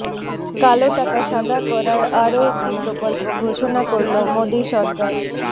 কালো টাকা সাদা করার আরও একটি প্রকল্প ঘোষণা করল মোদী সরকার